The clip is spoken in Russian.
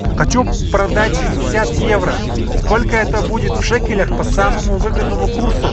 хочу продать шестьдесят евро сколько это будет в шекелях по самому выгодному курсу